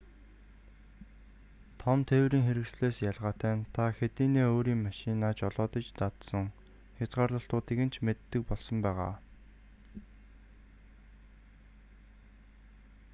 том тээврийн хэрэгслээс ялгаатай нь та хэдийнээ өөрийн машинаа жолоодож дадсан хязгаарлалтуудыг нь ч мэддэг болсон байгаа